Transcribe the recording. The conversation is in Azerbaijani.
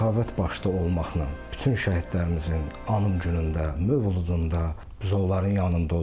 Səxavət başda olmaqla bütün şəhidlərimizin anım günündə, mövludunda, biz onların yanında oluruq.